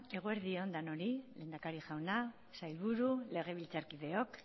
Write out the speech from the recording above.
eguerdi on denoi lehendakari jauna sailburu legebiltzarkideok